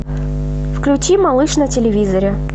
включи малыш на телевизоре